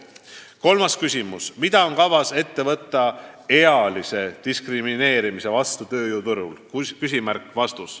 Kolmas küsimus: "Mida on kavas ette võtta ealise diskrimineerimise vastu tööjõuturul?